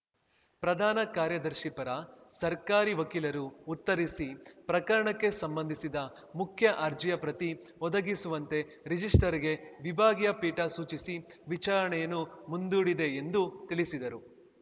ಪ್ರಧಾನ ಕಾರ್ಯದರ್ಶಿ ಪರ ಸರ್ಕಾರಿ ವಕೀಲರು ಉತ್ತರಿಸಿ ಪ್ರಕರಣಕ್ಕೆ ಸಂಬಂಧಿಸಿದ ಮುಖ್ಯ ಅರ್ಜಿಯ ಪ್ರತಿ ಒದಗಿಸುವಂತೆ ರಿಜಿಸ್ಟ್ರಾರ್‌ಗೆ ವಿಭಾಗೀಯ ಪೀಠ ಸೂಚಿಸಿ ವಿಚಾರಣೆಯನ್ನು ಮುಂದೂಡಿದೆ ಎಂದು ತಿಳಿಸಿದರು